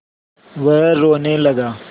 वह रोने लगा